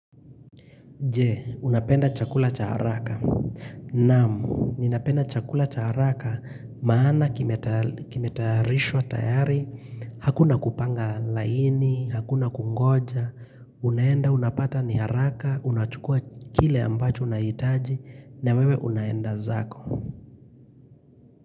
Je, unapenda chakula cha haraka. Naau, ninapenda chakula cha haraka maana kimetarishwa tayari, hakuna kupanga laini, hakuna kungoja. Unaenda, unapata ni haraka, unachukua kile ambacho unahitaji, na wewe unaenda zako.